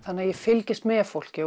ég fylgist með fólki